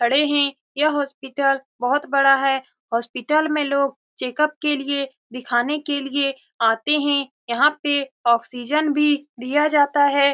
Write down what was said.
खड़े है यह हॉस्पिटल बहुत बड़ा है हॉस्पिटल में लोग चेकअप के लिए दिखाने के लिए आते है यहाँ पे ऑक्सीजन भी दिया जाता है।